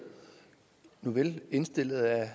nuvel indstillet af